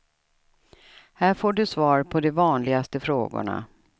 Här får du svar på de vanligaste frågorna.